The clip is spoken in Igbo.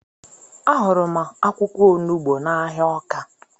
Ahụrụ m akwụkwọ onugbu n'ahịa Ọka